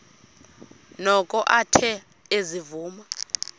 noko athe ezivuma